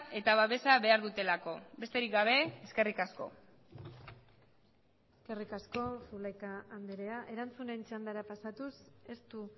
eta babesa behar dutelako besterik gabe eskerrik asko eskerrik asko zulaika andrea erantzunen txandara pasatuz ez du